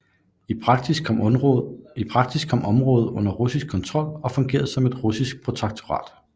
I praksis kom området under russisk kontrol og fungerede som et russisk protektorat